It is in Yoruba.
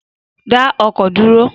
Da ọkọ duro